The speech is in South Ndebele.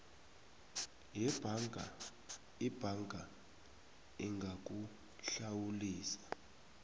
yebhanka ibhanka ingakuhlawulisa